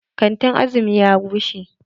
Kantin Azumi ya rushe.